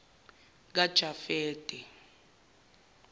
kajafete